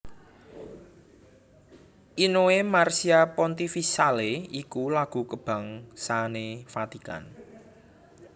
Inno e Marcia Pontificale iku lagu kabangsané Vatikan